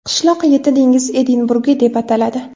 Qishloq yetti dengiz Edinburgi deb ataladi.